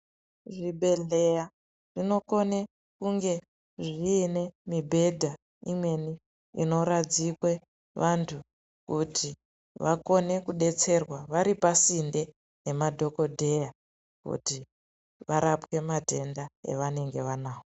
Zvibhedhleya zvinokone kunge zviine mibhedha imweni inoradzikwe vantu kuti vakone kudetserwa vari pasinde nemadhokodheya kuti varapwe matenda evanenge vanavo.